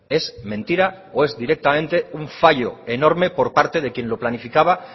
es mentira o es directamente un fallo enorme por parte de quien lo planificaba